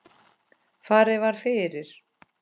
Farið var fyrir